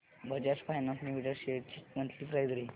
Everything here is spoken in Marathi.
बजाज फायनान्स लिमिटेड शेअर्स ची मंथली प्राइस रेंज